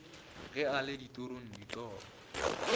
ge a le ditorong ditoro